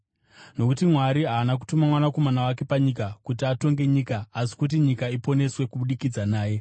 Nokuti Mwari haana kutuma Mwanakomana wake panyika kuti atonge nyika, asi kuti nyika iponeswe kubudikidza naye.